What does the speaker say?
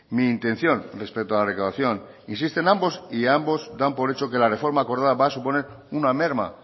mi intención respecto a la recaudación existen ambos y ambos dan por hecho que la reforma acordada va a suponer una merma